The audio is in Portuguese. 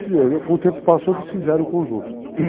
Com o tempo passou, desfizeram o conjunto.